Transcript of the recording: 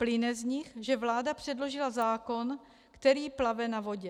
Plyne z nich, že vláda předložila zákon, který plave na vodě.